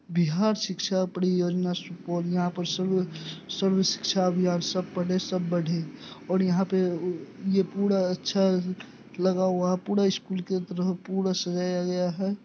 Bihar Shiksha Pariyojana school यहाँ पे सर्व सर्व शिक्षा अभियान सब पढ़े सब बढे और यहा पे ओ-ए-ये पूरा अच्छा लगा हुआ पूरा स्कूल की तरह पूरा सजाया गया है।